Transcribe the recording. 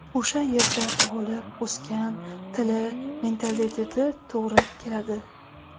O‘sha yerda tug‘ilib o‘sgan, tili, mentaliteti to‘g‘ri keladi.